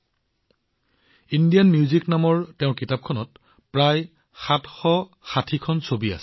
তেওঁৰ Indian music নামৰ কিতাপখনত প্ৰায় ৭৬০ খন ছবি আছে